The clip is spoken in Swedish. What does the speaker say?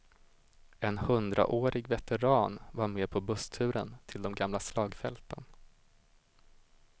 En hundraårig veteran var med på bussturen till de gamla slagfälten.